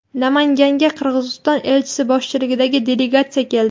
Namanganga Qirg‘iziston elchisi boshchiligidagi delegatsiya keldi.